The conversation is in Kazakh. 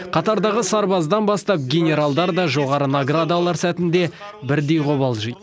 қатардағы сарбаздан бастап генералдарда жоғары награда алар сәтінде бірдей қобалжиды